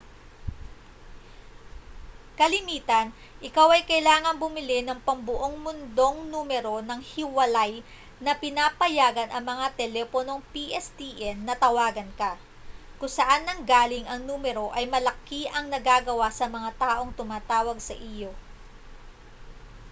kalimitan ikaw ay kailangang bumili ng pambuong mundong numero nang hiwalay na pinapayagan ang mga teleponong pstn na tawagan ka kung saan nanggaling ang numero ay malaki ang nagagawa sa mga taong tumatawag sa iyo